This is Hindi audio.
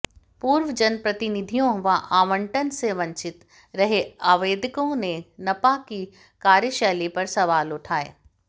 पूर्व जनप्रतिनिधियों व आवंटन से वंचित रहे आवेदकों ने नपा की कार्यशैली पर सवाल उठाए